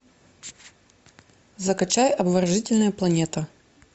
закачай обворожительная планета